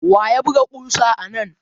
Wa ya buga ƙusa anan?